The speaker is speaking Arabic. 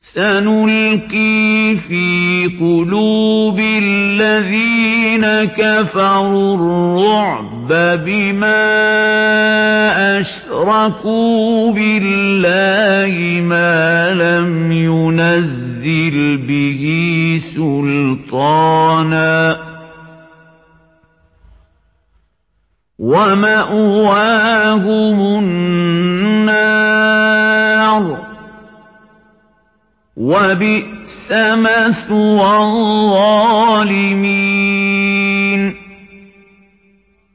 سَنُلْقِي فِي قُلُوبِ الَّذِينَ كَفَرُوا الرُّعْبَ بِمَا أَشْرَكُوا بِاللَّهِ مَا لَمْ يُنَزِّلْ بِهِ سُلْطَانًا ۖ وَمَأْوَاهُمُ النَّارُ ۚ وَبِئْسَ مَثْوَى الظَّالِمِينَ